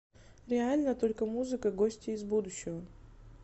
реальна только музыка гости из будущего